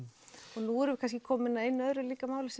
og nú erum við kannski komin að einu öðru máli sem